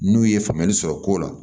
N'u ye faamuyali sɔrɔ ko la